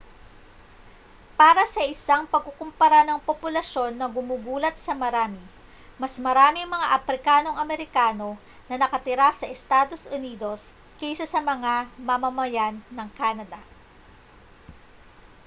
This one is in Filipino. para sa isang pagkukumpara ng populasyon na gumugulat sa marami mas maraming mga aprikanong amerikano na nakatira sa estados unidos kaysa sa mga mamamayan ng canada